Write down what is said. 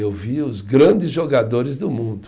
Eu vi os grandes jogadores do mundo.